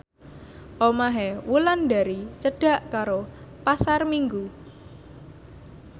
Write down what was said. omahe Wulandari cedhak karo Pasar Minggu